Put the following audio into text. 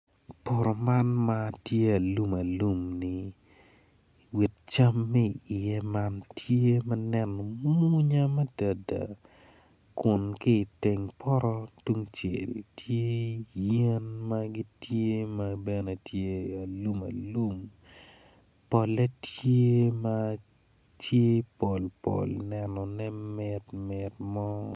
Poto man ma tye alum alum-ni wit cam ma iye man tye ma neno mwonya madada kun ki i teng poto tung cel tye yen ma gitye ma bene tye alumalum pole tye ma tye polpol nenone mitmit mo.